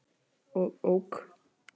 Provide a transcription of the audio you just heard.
og OK.